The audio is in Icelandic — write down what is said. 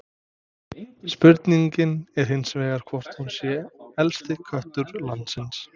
Spurningin er hins vegar hvort hún sé elsti köttur landsins?